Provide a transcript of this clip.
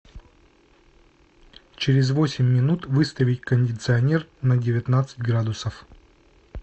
через восемь минут выставить кондиционер на девятнадцать градусов